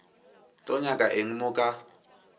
tlo nyaka eng mo ka